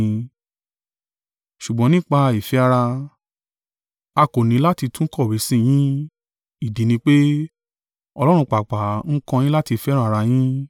Ṣùgbọ́n nípa ìfẹ́ ará, a kò ní láti tún kọ̀wé sí i yín, ìdí ni pé, Ọlọ́run pàápàá ń kọ́ yín láti fẹ́ràn ara yín.